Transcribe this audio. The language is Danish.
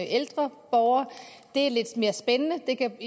ældre borgere det er lidt mere spændende det kan